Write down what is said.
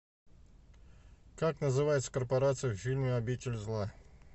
как называется корпорация в фильме обитель зла